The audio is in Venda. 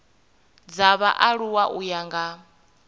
dza vhaaluwa u ya nga